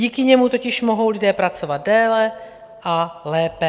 Díky němu totiž mohou lidé pracovat déle a lépe.